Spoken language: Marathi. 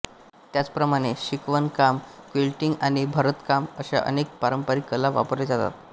त्याचप्रमाणे शिवणकाम क्विल्टिंग आणि भरतकाम अशा अनेक पारंपारिक कला वापरले जातात